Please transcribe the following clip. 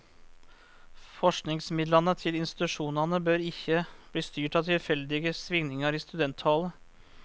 Forskingsmidlane til institusjonane bør ikkje bli styrt av tilfeldige svingningar i studenttallet.